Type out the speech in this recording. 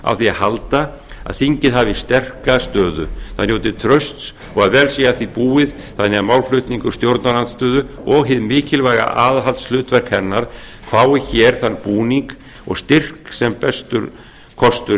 á því að halda að þingið hafi sterka stöðu það njóti trausts og að vel sé að því búið þannig að málflutningur stjórnarandstöðu og hið mikilvæga aðhaldshlutverk hennar fái hér þann búning og styrk sem bestur kostur